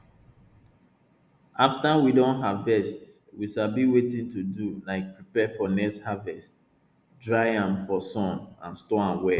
after we don harvest we sabi wetin to do like prepare for next harvest dry am for sun and store am well